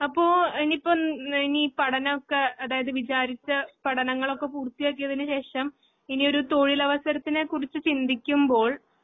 ആപ്പോ ഇനിയിപ്പം എൻ നിനീ പഠനോക്കെ അതയാത് വിചാരിച്ച പഠനങ്ങളൊക്കെ പൂർത്തിയാക്കിയതിനുശേഷം ഇനിയൊരു തൊഴിലവസരത്തിനെക്കുറിച്ച് ചിന്തിക്കുമ്പോൾ